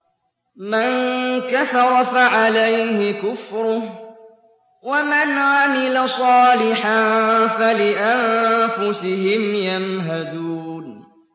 مَن كَفَرَ فَعَلَيْهِ كُفْرُهُ ۖ وَمَنْ عَمِلَ صَالِحًا فَلِأَنفُسِهِمْ يَمْهَدُونَ